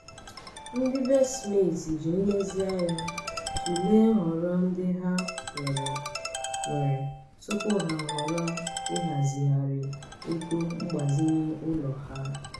ndị be smith ji nlezianya tụlee nhọrọ ndị ha nwere nwere tupu ha ahọrọ ịhazigharị ego mgbazinye ụlọ ha.